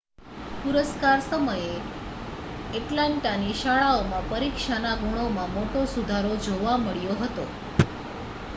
પુરસ્કાર સમયે એટલાન્ટાની શાળાઓમાં પરીક્ષાના ગુણમાં મોટો સુધારો જોવા મળ્યો હતો